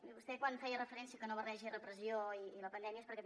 i vostè quan feia referència a que no barregi repressió i la pandèmia és perquè també